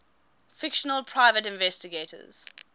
fictional private investigators